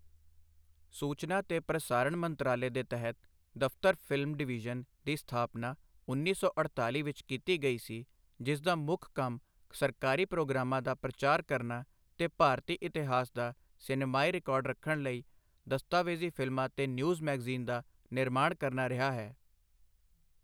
ਸੂਚਨਾ ਤੇ ਪ੍ਰਸਾਰਣ ਮੰਤਰਾਲੇ ਦੇ ਤਹਿਤ ਦਫ਼ਤਰ ਫ਼ਿਲਮ ਡਿਵੀਜ਼ਨ ਦੀ ਸਥਾਪਨਾ ਉੱਨੀ ਸੌ ਅਠਤਾਲ਼ੀ ਵਿਚ ਕੀਤੀ ਗਈ ਸੀ, ਜਿਸਦਾ ਮੁੱਖ ਕੰਮ ਸਰਕਾਰੀ ਪ੍ਰੋਗਰਾਮਾਂ ਦਾ ਪ੍ਰਚਾਰ ਕਰਨ ਤੇ ਭਾਰਤੀ ਇਤਿਹਾਸ ਦਾ ਸਿਨੇਮਾਈ ਰਿਕਾਰਡ ਰੱਖਣ ਲਈ ਦਸਤਾਵੇਜ਼ੀ ਫ਼ਿਲਮਾਂ ਤੇ ਨਿਊਜ਼ ਮੈਗਜ਼ੀਨਸ ਦਾ ਨਿਰਮਾਣਾ ਕਰਨਾ ਰਿਹਾ ਹੈ।